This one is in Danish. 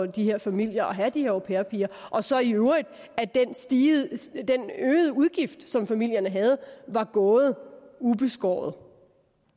de her familier at have de her au pair piger og så i øvrigt at den øgede udgift som familierne havde var gået ubeskåret